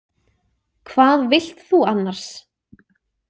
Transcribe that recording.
Hvað vilt þú annars?